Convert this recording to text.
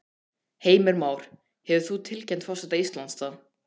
Heimir Már: Hefur þú tilkynnt forseta Íslands það?